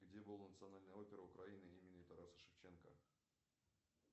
где была национальная опера украины имени тараса шевченко